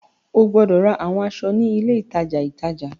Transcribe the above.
O gbọdọ ra awọn aṣọ ni ile itaja itaja!